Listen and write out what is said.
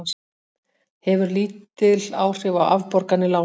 Hefur lítil áhrif á afborganir lána